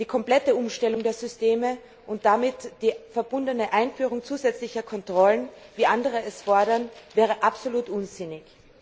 Die komplette Umstellung der Systeme und die damit verbundene Einführung zusätzlicher Kontrollen, wie andere es fordern, wäre absolut unsinnig.